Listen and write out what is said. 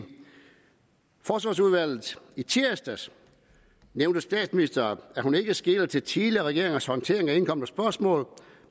forsvarsudvalget i tirsdags nævnte statsministeren at hun ikke skeler til tidligere regeringers håndtering af indkomne spørgsmål